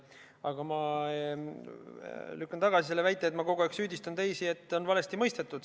Aga ma lükkan tagasi selle väite, nagu ma kogu aeg süüdistaksin teisi, et on valesti mõistetud.